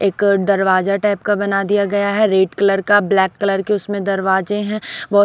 एक दरवाजा टाइप का बना दिया गया है रेड कलर का ब्लैक कलर के उसमें दरवाजे हैं बहो--